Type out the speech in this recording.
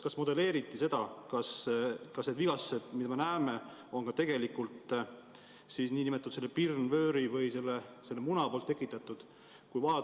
Kas modelleeriti seda, kas need vigastused, mida me näeme, on ka tegelikult nn pirnvööri või selle muna tekitatud?